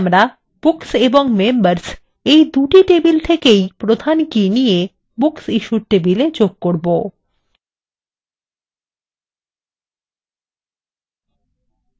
এখানে আমরা books এবং members এই দুটি table থেকেই প্রধান কী নিয়ে booksissued tablewe যোগ করবো